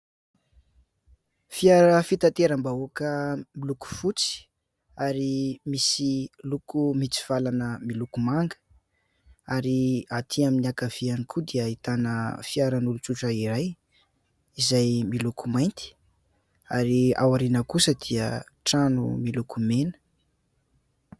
Fiara fitateram-bahoaka miloko fotsy ary misy loko mitsivalana miloko manga. Ary aty amin'ny ankaviany koa dia ahitana fiaran'olon-tsotra iray izay miloko mainty, ary ao aoriana kosa dia trano miloko mena.